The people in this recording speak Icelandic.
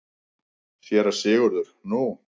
SÉRA SIGURÐUR: Nú?